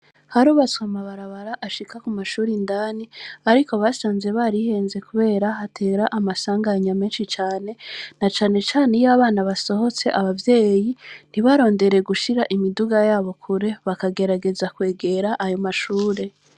Harubatswe amabarabara ashika ku mashure indani, ariko basanze barihenze, kubera hatera amasanganya menshi cane, na cane cane iyo abana basohotse, abavyeyi ntibarondere gushira imiduga yabo kure, bakagerageza kwegera ayo mashure.